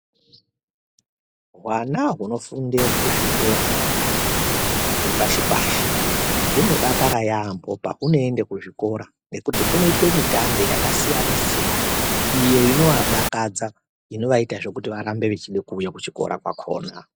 Hwana hunofunde kuzvikora zvepashi pashi hunodakara yaambo pahunoenda kuzvikora nekuti kunoitwe mitambe yakasiyana siyana iyo inowadakadza inovaitazve kuti varambe vechida kuuya kuchikora kwakhona.